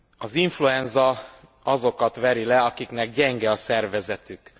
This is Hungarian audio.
Az influenza azokat veri le, akiknek gyenge a szervezetük.